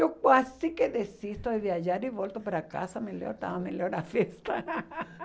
Eu quase que desisto de viajar e volto para casa, melhor estava melhor a festa.